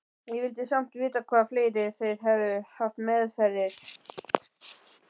Ég vildi samt vita hvað fleira þeir hefðu haft meðferðis.